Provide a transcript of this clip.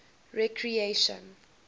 recreation